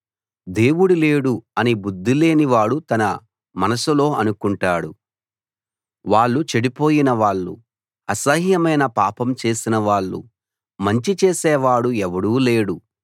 దేవుడు లేడు అని బుద్ధిలేని వాడు తన మనసులో అనుకుంటాడు వాళ్ళు చెడిపోయిన వాళ్ళు అసహ్యమైన పాపం చేసిన వాళ్ళు మంచి చేసేవాడు ఎవడూ లేడు